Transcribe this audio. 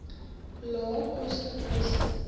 lae koste huise